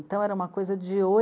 Então era uma coisa de